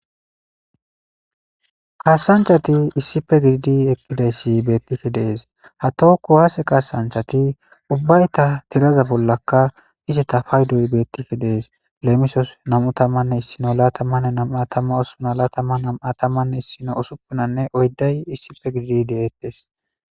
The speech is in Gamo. kaasanchati issife gididi eqqidayssi beettike dees ha tookku haase kaasanchati ubbayta tiraza bollaka izeta fayduy beettike dees leemisos nam7u tamanne issino laatamanne namatama osuna laatama namu7atamanne issino usuppunanne oyday issife gididi deeettes